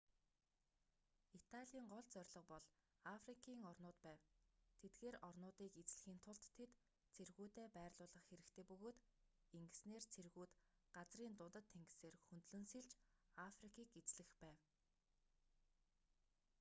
италийн гол зорилго бол африкийн орнууд байв тэдгээр орнуудыг эзлэхийн тулд тэд цэргүүдээ байрлуулах хэрэгтэй бөгөөд ингэснээр цэргүүд газрын дундад тэнгисээр хөндлөн сэлж африкийг эзлэх байв